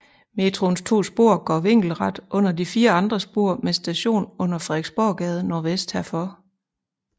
Metroens to spor går vinkelret under de fire andre spor med station under Frederiksborggade nordvest herfor